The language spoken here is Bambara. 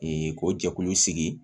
ko jɛkulu sigi